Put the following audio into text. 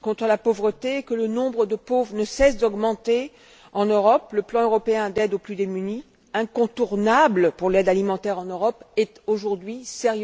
contre la pauvreté et que le nombre de pauvres ne cesse d'augmenter en Europe, le plan européen d'aide aux plus démunis, incontournable pour l'aide alimentaire en Europe, est aujourd'hui sérieusement et gravement menacé.